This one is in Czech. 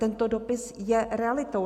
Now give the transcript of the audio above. Tento dopis je realitou.